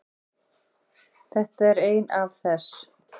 Þetta er ein af þess